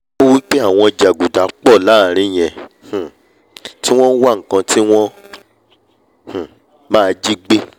ó wí pé àwọn jàgùdà pọ̀ láàrin yẹn um tí wọ́n wá nkan tí wọ́n um máa jígbé